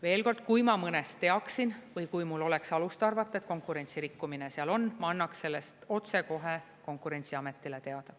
Veel kord, kui ma mõnest teaksin või kui mul oleks alust arvata, et konkurentsi rikkumine seal on, ma annaks sellest otsekohe Konkurentsiametile teada.